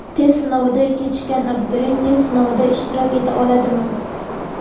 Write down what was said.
Test sinoviga kechikkan abituriyent test sinovida ishtirok eta oladimi?.